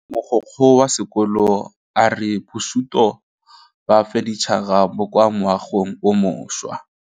Mogokgo wa sekolo a re bosutô ba fanitšhara bo kwa moagong o mošwa.